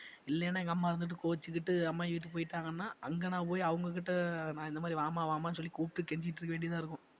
இல்லைன்னா எங்கம்மா இருந்துட்டு கோச்சுக்கிட்டு அம்மாயி வீட்டுக்கு போயிட்டாங்கனா அங்க நான் போய் அவங்க கிட்ட நான் இந்த மாதிரி வாமா வாமான்னு சொல்லி கூப்பிட்டு கெஞ்சிட்டிருக்க வேண்டியதாயிருக்கும்